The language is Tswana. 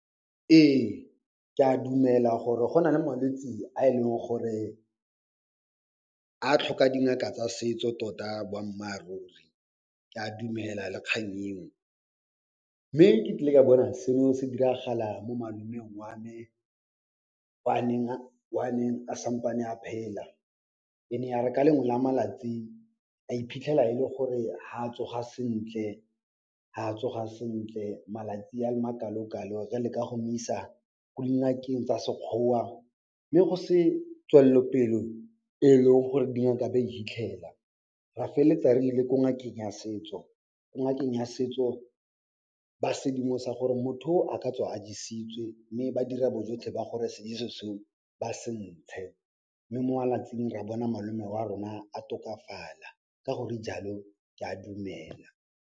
Ee, ke a dumela gore go nale malwetsi a e leng gore a tlhoka dingaka tsa setso tota boammaaruri. Ke a dumela le kgang eo, mme ke tlile ka bona seo se diragala mo malomeng wa me o a neng a, wa neng a sampane a phela. E ne ya re ka lengwe la malatsi, a iphitlhela e le gore ha tsoga sentle, ha tsoga sentle malatsi a makalokalo. Ra leka go mo isa ko dingakeng tsa Sekgowa mme go se tswellopelo e e leng gore dingaka be e hitlhela. Ra feleletsa re ile ko ngakeng ya setso. Ko ngakeng ya setso ba sedimosa gore motho o, a ka tswa a jesitswe mme ba dira bojotlhe ba gore sejeso seo, ba se ntshe mme mo malatsing ra bona malome wa rona a tokafala ka gore jalo, ke a dumela.